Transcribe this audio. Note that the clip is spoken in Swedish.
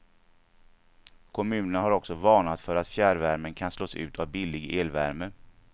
Kommunerna har också varnat för att fjärrvärmen kan slås ut av billig elvärme.